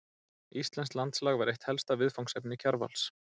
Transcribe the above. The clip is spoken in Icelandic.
Íslenskt landslag var eitt helsta viðfangsefni Kjarvals.